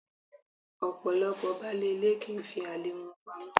Ọ̀pọ̀lọ́pọ̀ baálé ilé kì í fi àlè wọn pamọ́.